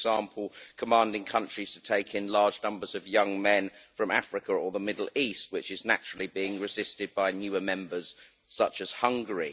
For example, commanding countries to take in large numbers of young men from Africa or the Middle East, which is naturally being resisted by newer members such as Hungary.